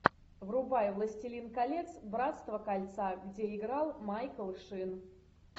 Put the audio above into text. врубай властелин колец братство кольца где играл майкл шин